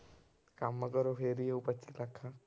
ਕੰਮ ਕਰੋ ਫਿਰ ਹੀ ਆਊ ਪੱਚੀ ਲੱਖ।